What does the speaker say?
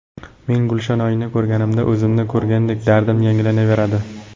Men Gulshanoyni ko‘rganimda o‘zimni ko‘rgandek dardim yangilanaveradi.